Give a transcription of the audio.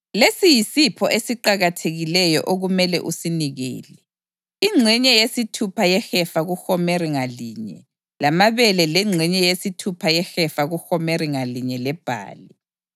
Lesi yisipho esiqakathekileyo okumele usinikele: Ingxenye yesithupha yehefa kuhomeri ngalinye lamabele lengxenye yesithupha yehefa kuhomeri ngalinye lebhali.